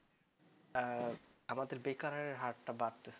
আমাদের বেকারের হার টা বাড়ছে